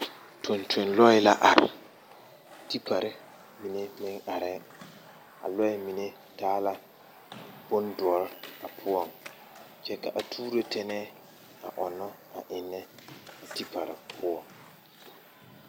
Tontonlɔɛ la are tipari mine meŋ arɛŋ a lɔɛ mine taa la bondɔre a poɔŋ kyɛ ka a tuuro tɛnɛɛ a onnɔ eŋnɛ a tipari poɔŋ.